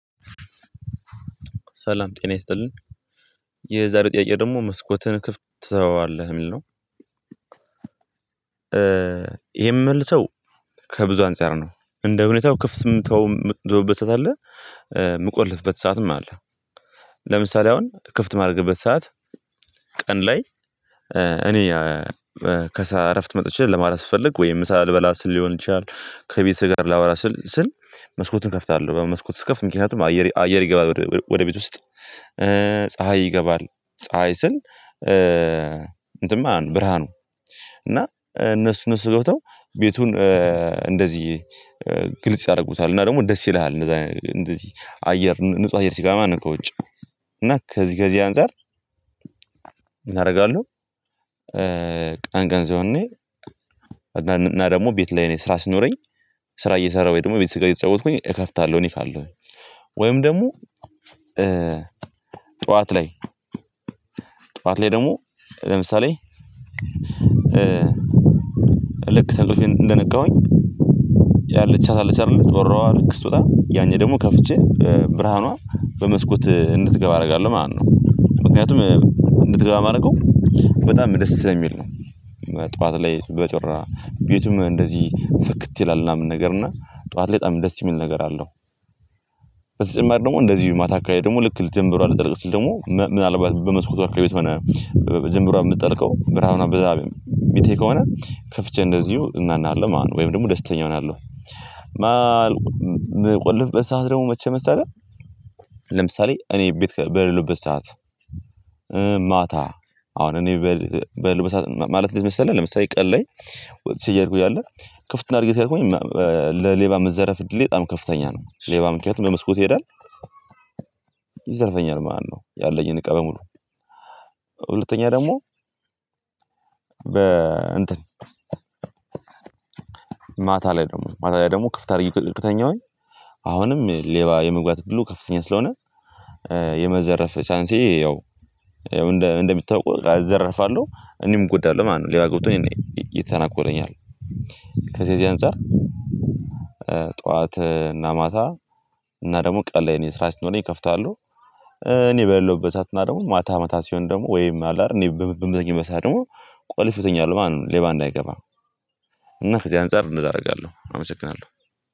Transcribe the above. ሰላም ጤና ይስጥልኝ የዛሬው ጥያቄ ደግሞ መስኮትን ክፍት ትተዋለህ የሚል ነው? ይሄን የምመልሰው ከብዙ አንፃር ነው እንደ ሁኔታው ክፍት ምተውበት ሰዓት አለ የምቆልፍበት ሰዓትም አለ። ለምሳሌ አሁን ክፍት ማድረግበት ሰዓት ቀን ላይ እኔ ከስራ እረፍት መጥቼ ለማለት ስፈልግ ወይም ሳልበላ ሊሆን ይችላል ከቤት ጋር ላወራ ስል መስኮትን እከፍታለሁ በመስኮቱ እስከፍት ምክንያቱም አየር አየር ይገባል ወደ ቤት ውስጥ ፀሀይ ይገባል። ፀሀይ ስል እንትን ማለት ነው ብርሃኑ እና እነሱ ነው ስገብተው ቤቱን እንደዚህ ግልጽ ያደርጉታል እና ደግሞ ደስ ይልሃል። እንደዚህ አየር ንጹህ አየር ሲገባ ማለት ነው ከውጭ እና ከዚህ ከዚህ አንፃር ምን እናደርጋለሁ። ቀን ቀን ሲሆን እኔ እና ደግሞ ቤት ላይ ነኝ ስራ ስኖረኝ ስራ እየሰራሁኝ ደግሞ ቤተሰብ ጋር እየተጫወትኩኝ እከፍታለሁ። እኔ ካለሁኝ ወይም ደግሞ ጠዋት ላይ ጠዋት ላይ ደግሞ ለምሳሌ ልክ ከእንቅልፌ እንደነቃሁኝ ያለቻት አለቻት አይደለም ጮራዋ ልክ ስትወጣ ያኔ ደግሞ ከፍቼ ብርሃኗ በመስኮት እንድትገባ አደርጋለሁ ማለት ነው ምክንያቱም እንድትገባ የማደርገው በጣም መደሰት ነው የሚል ነው። ጠዋት ላይ በጮራ ቤቱም እንደዚህ ፈክት ይላል ምናምን ነገር እና ጠዋት ላይ በጣም ደስ የሚል ነገር አለው። በተጨማሪ ደግሞ እንደዚሁ ማታ አካሄድ ደግሞ ልክ ልትጀምሩ አልተጠራጠርም ስል ደግሞ ምናልባት በመስኮት አርክሌ ቤት ሆነ ጀምሯ የምትጠልቀው ብርሃኑ አብዛቤም የሚቴ ከሆነ ከፍቼ እንደዚሁ እናናለሁ ማለት ነው ወይም ደግሞ ደስተኛ እሆናለሁ። ምቆልፍ በሰአት ደግሞ መቼ መሰለ መሰለህ? ለምሳሌ እኔ ቤት በሌለሁበት ሰዓት ማታ አሁን እኔ በል ማለት እንደምሰለኝ ለምሳሌ ቀን ላይ እያደረኩኝ አለ ክፍት አድርጌ ተደርጎኝ ለሌባ የምትዘረፍ እድሌ በጣም ከፍተኛ ነው ሌባ ምክንያት በመስኮት ይሄዳል። ይዘርፈኛል ማነው? ያለኝን ቀበሙሉ ሁለተኛ ደግሞ በ እንትን ማታ ላይ ደግሞ ማታ ላይ ደግሞ ክፍት አድርጊ ጥቅም ከተኛሁኝ አሁንም ሌባ የመግባት እድሉ ከፍተኛ ስለሆነ የመዘረፍ ቻንሴ ያው እንደምታውቁ እዘረፋለሁ እኔም እጎዳለሁ ማለት ነው። ሌላ ገብቶኝ እኔ እየተናጎለኝ አለ ከዚህ የዚህ አንፃር ጠዋት እና ማታ እና ደግሞ ቀን ላይ እኔ ስራ ሲኖርህ እከፍታለሁ። እኔ በለውበት እና ደግሞ ማታ መታ ሲሆን ደግሞ ወይም አለ አይደል እኔ በምዘኝ በሰአት ደግሞ ቆልፎኛል ማን ሌባ እንዳይገባ እና ከዚህ አንፃር እንደዛ አደርጋለሁ አመሰግናለሁ።